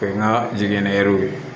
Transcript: O ye n ka jiginɛw ye